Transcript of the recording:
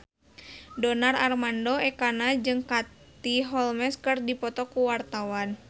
Donar Armando Ekana jeung Katie Holmes keur dipoto ku wartawan